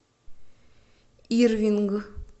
ирвинг